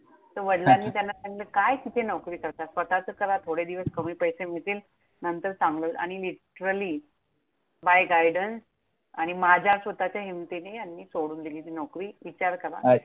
तर वडलांनी त्यांना सांगितलं, काय किती नोकरी करता! स्वतःचं करा. थोडे दिवस कमी पैसे मिळतील. नंतर चांगलं आणि, literally by guidance आणि माझ्या स्वतःच्या हिमतीने ह्यांनी सोडून दिली ती नोकरी. विचार करा.